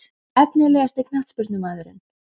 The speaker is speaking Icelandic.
Efnilegasti knattspyrnumaðurinn?